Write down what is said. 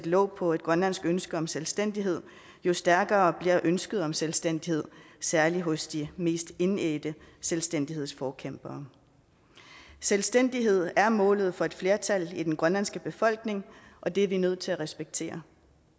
låg på et grønlandsk ønske om selvstændighed jo stærkere bliver ønsket om selvstændighed særlig hos de mest indædte selvstændighedsforkæmpere selvstændighed er målet for et flertal i den grønlandske befolkning og det er vi nødt til at respektere